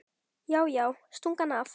Já, já, stungu hann af!